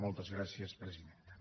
moltes gràcies presidenta